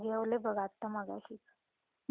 जेवले बाघ आत्ता माघाशीच.